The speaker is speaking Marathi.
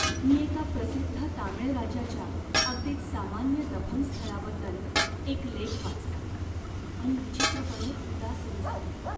मी एका प्रसिद्ध तामीळ राजाच्या अगदीच सामान्य दफनस्थळाबद्दल एक लेख वाचला आणि विचित्र पणे उदासीन झालो.